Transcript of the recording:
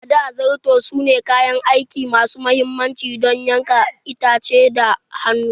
A da, Zarto sune kayan aiki masu mahimmanci don yankan itace da hannu.